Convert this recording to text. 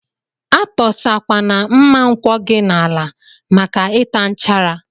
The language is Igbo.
Atọsa kwana mma nkwọ gi n'ala maka ita nchara.